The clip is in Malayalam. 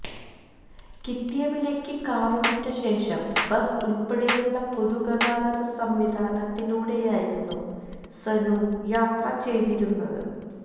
കിട്ടിയ വിലയ്ക്ക് കാര് വിറ്റ ശേഷം ബസ് ഉള്പ്പെടെയുള്ള പൊതുഗതാഗത സംവിധാനത്തിലൂടെയായിരുന്നു സനു യാത്ര ചെയ്തിരുന്നത്